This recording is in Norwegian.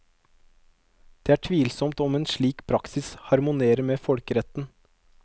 Det er tvilsomt om en slik praksis harmonerer med folkeretten.